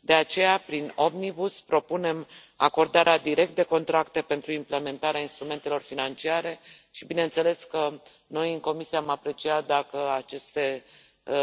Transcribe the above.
De aceea, prin Omnibus propunem acordarea direct de contracte pentru implementarea instrumentelor financiare și bineînțeles că noi, în Comisie, am aprecia dacă aceste